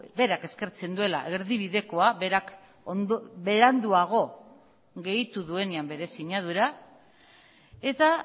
berak eskertzen duela erdibidekoa berak beranduago gehitu duenean bere sinadura eta